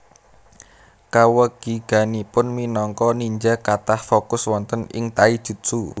Kawegiganipun minangka ninja kathah fokus wonten ing taijutsu